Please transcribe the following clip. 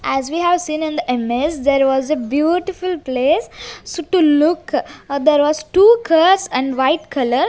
as we have seen in the image there was a beautiful place so to look ah there was two cars and white colour.